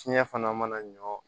Fiɲɛ fana mana ɲɔ